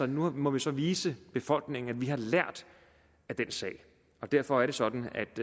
nu må vi så vise befolkningen at vi har lært af den sag derfor er det sådan